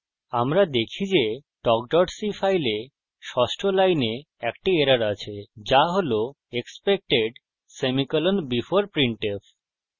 আমরা দেখি যে talk c file ষষ্ঠ line একটি error আছে যা হল expected semicolon before printf